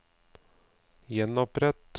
gjenopprett